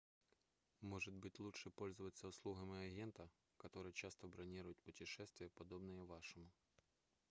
может быть лучше пользоваться услугами агента который часто бронирует путешествия подобные вашему